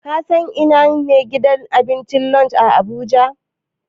Ka san ina ne gidan abincin Lush a Abuja?